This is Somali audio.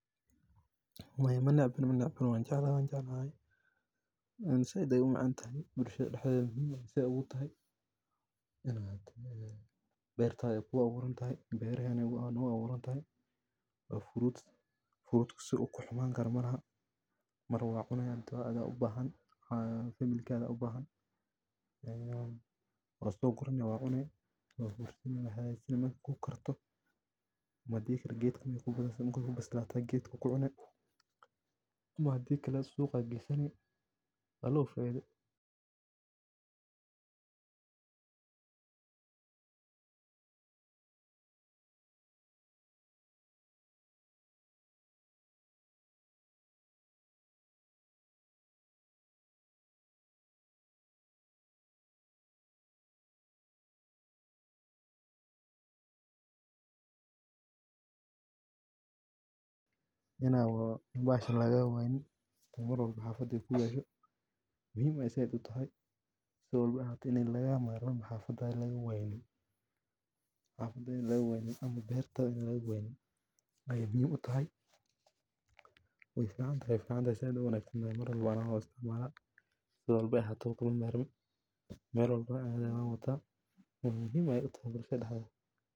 Maya manecbani manecbani wanjeclahay iibiya bacsharadan waa ganacsato yar yar oo dadaal ku billaabay inay nolol maalmeedkooda ka helaan si sharaf leh. Iibsashada bacsharadan waxay taageeraysaa dhaqaalaha bulshada iyo koboca ganacsiga yaryar, waxaana sidoo kale ay dadka deegaanka u fududaynayaan inay si dhakhso ah u helaan waxa ay u baahan yihiin iyaga oo aan u baahnayn inay safar dheer galaan.